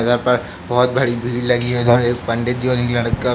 इधर पर बोहोत बड़ी भीड़ लगी है। इधर एक पंडित जी और एक लड़का --